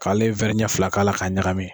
K'ale ɲɛ fila k'a la k'a ɲagami.